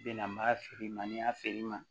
Bɛna ma feere ma feere ma